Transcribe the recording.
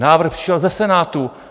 Návrh přišel ze Senátu.